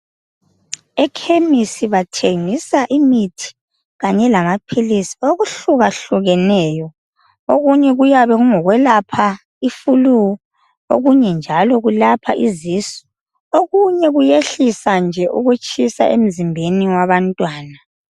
Ekhemisi bathengisa imithi kanye lamaphilisi okuhlukahlukeneyo. Okunye kuyabe kungokwelapha i"flu" okunye njalo kulapha izisu okunye kuyehlisa nje ukutshisa emzimbeni wabantwana.